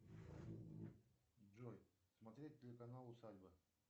джой смотреть телеканал усадьба